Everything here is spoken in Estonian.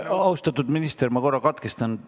Austatud minister, ma korra katkestan.